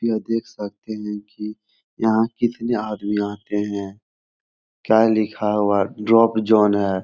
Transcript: यह देख सकते है की यहाँ कितने आदमी आते हैं क्या लिखा हुआ है ड्रॉप जोन है।